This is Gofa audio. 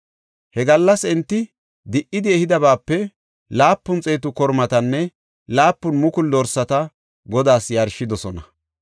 He gallas enti di77idi ehidabaape laapun xeetu kormatanne laapun mukulu dorsata Godaas yarshidosona.